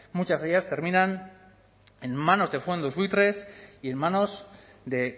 muchas de ellas terminan en manos de fondos buitres y en manos de